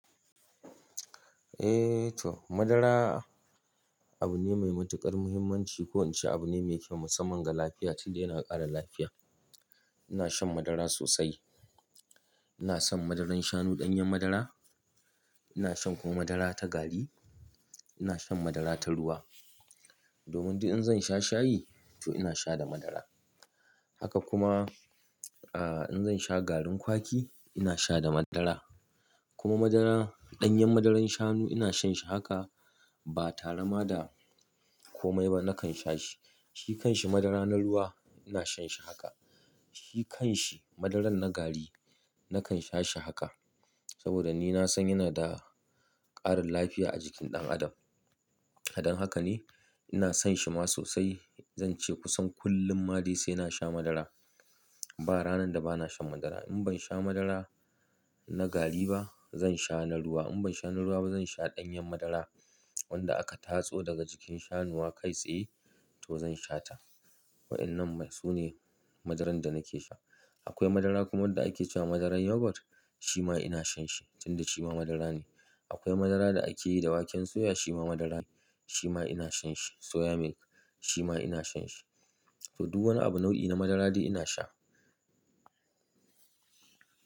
Eh to, madara abu ne mai matuƙar muhimmanci. Ko wance abu ne mai kyau musamman ga lafiya tunda yana ƙara lafiya. Ina shan madara sosai. Ina son madarar shanu ɗanyen madara. Ina shan kuma madara ta gari. Ina shan madara ta ruwa. Domin duk in zan sha shayi to ina sha da madara. Haka kuma, ah, in zan sha garin kwaki ina sha da madara. Kuma madara, ɗanyen madarar shanu ina shan shi haka ba tarama da komai ba nakan sha shi. Shi kan shi madara na ruwa ina shan shi haka. Shi kan shi madarar na gari nakan sha shi haka. Saboda ni na san yana da ƙarin lafiya a jikin ɗan adam. Don haka ne ina son shi ma sosai. Zan ce kusan kullum ma dai sai na sha madara. Ba ranar da ba na shan madara. In ban sha madara na gari ba zan sha na ruwa. In ban sha na ruwa ba zan sha ɗanyen madara wanda aka tatso daga jikin shanuwa kai tsaye to zan sha ta. Wa'yannan su ne madaran da nake sha. Akwai madara kuma wanda ake ce wa madarar Yogurt shima ina shan shi tunda shi ma madara ne. Akwai madara da ake yi da waken soya shima madara ne shima ina shan shi. Soya milk shima ina shan shi. To, duk wani abu nau'i na madara dai ina sha.